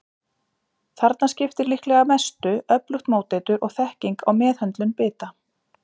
Þarna skiptir líklega mestu öflugt móteitur og þekking á meðhöndlun bita.